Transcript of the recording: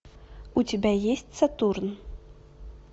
у тебя есть сатурн